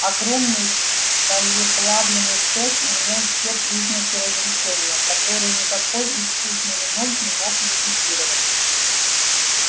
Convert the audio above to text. огромный сталеплавильный цех имел все признаки разрушения которые никакой искусный ремонт не мог ликвидировать